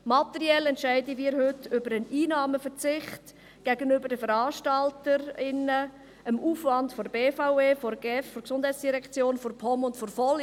Materiell entscheiden wir heute über einen Einnahmenverzicht gegenüber den Veranstaltern und Veranstalterinnen, den Aufwand der BVE, der GEF, der POM und der VOL.